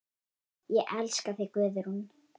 Ég elska þig, Guðrún.